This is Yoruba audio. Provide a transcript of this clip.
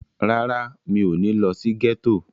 Rárá, mi ò ní lọ sí gẹ́tò.